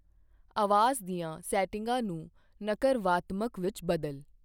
ਆਵਾਜ਼ ਦੀਆਂ ਸੈਟਿੰਗਾਂ ਨੂੰ ਨਕਰਵਾਤਮਕ ਵਿੱਚ ਬਦਲ।